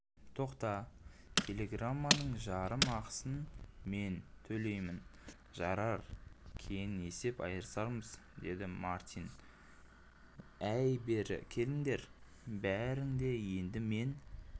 тоқта телеграмманың жарым ақысын мен төлеймінжарар кейін есеп айырармыз деді мартинәй бері келіңдер бәрің де енді мен